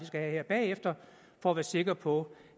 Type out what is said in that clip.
skal have her bagefter for at være sikre på